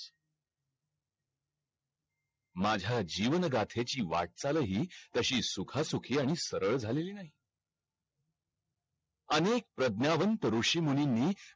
माझ्या जीवन गाठेची वाट चाल अ ही तशीच सुखा सुखी आणि सरळ झालेली नाही अनेक प्रज्ञावंत ऋषी मुनींनी